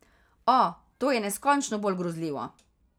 O, to je neskončno bolj grozljivo.